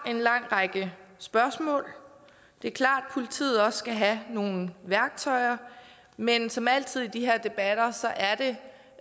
en lang række spørgsmål det er klart at politiet også skal have nogle værktøjer men som altid i de her debatter